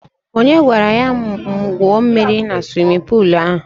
Onye gwara ya gwuo mmiri na suwimin puulu ahụ?